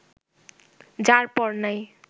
যার-পর-নাই